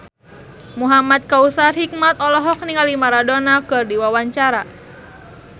Muhamad Kautsar Hikmat olohok ningali Maradona keur diwawancara